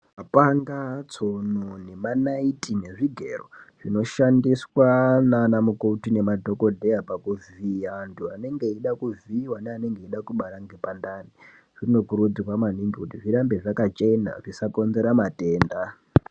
Mapanga tsono nemanaiti nezvigero zvinoshandiswa nana mukoti nemadhokodheya pakuvhiya antu anenga eida kuvhiiwa naanenge eida kubara ngepandani zvinokurudzirwa maningi kuti zvirambe zvakachena zvjsakonzera matenda.